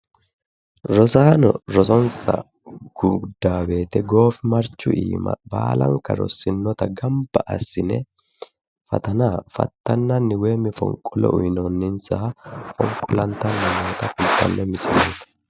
Rosaano rosonsa guddanno woyte goofimarchu iima baalanka rossinota gamibba assine fatana fattanan woym fonqolo uyinoonisaha fonqolantanni noota leelshanno misileet